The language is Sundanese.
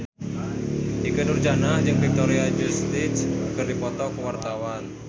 Ikke Nurjanah jeung Victoria Justice keur dipoto ku wartawan